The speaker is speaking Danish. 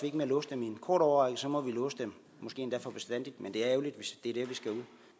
ikke med at låse dem i en kort årrække så må vi låse dem måske endda for bestandig men det er ærgerligt hvis det